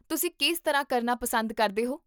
ਤੁਸੀਂ ਕਿਸ ਤਰ੍ਹਾਂ ਕਰਨਾ ਪਸੰਦ ਕਰਦੇ ਹੋ?